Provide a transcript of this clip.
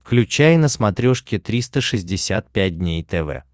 включай на смотрешке триста шестьдесят пять дней тв